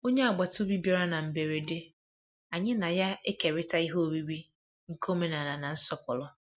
Onye agbata obi bịara na mberede, anyị na ya ekerita ihe oriri nke omenala na nsọpụrụ.